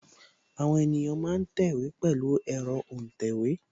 Àwọn ènìyàn ma ń tẹ̀wé pẹ̀lu ẹ̀rọ́ òǹtẹ̀wé